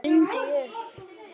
stundi ég upp.